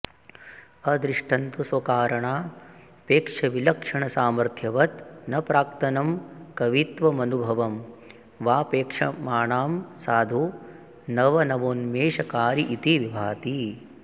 अदृष्टन्तु स्वकारणा पेक्षविलक्षणसामर्थ्यवत् न प्राक्तनं कवित्वमनुभवं वाऽपेक्षमाणं साधु नवनवोन्मेष कारि इति विभाति